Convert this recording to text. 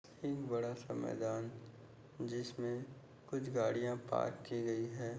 एक बड़ा सा मैदान जिसमे कुछ गाड़िया पार्क की गई है।